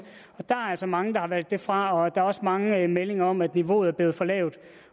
altså mange der har valgt det fra og der er også mange meldinger om at niveauet er blevet for lavt